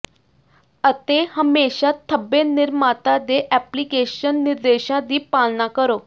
ਅਤੇ ਹਮੇਸ਼ਾਂ ਧੱਬੇ ਨਿਰਮਾਤਾ ਦੇ ਐਪਲੀਕੇਸ਼ਨ ਨਿਰਦੇਸ਼ਾਂ ਦੀ ਪਾਲਣਾ ਕਰੋ